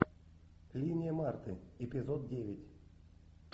линия марты эпизод девять